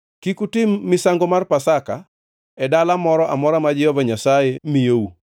Kik utim misango mar Pasaka, e dala moro amora ma Jehova Nyasaye miyou,